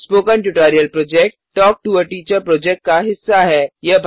spoken tutorial project talk to a teacher project का हिस्सा है